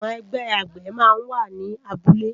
Awòn ègbè àgbé má n wá ni àbúlé